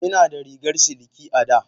Ina da rigar siliki a da.